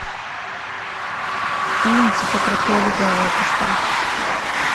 фильм типа крутые легавые поставь